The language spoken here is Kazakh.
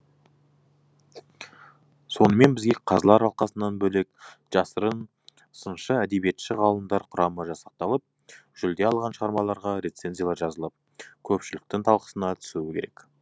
сонымен бірге қазылар алқасынан бөлек жасырын сыншы әдебиетші ғалымдар құрамы жасақталып жүлде алған шығармаларға рецензиялар жазылып көпшіліктің талқысына түсуі керек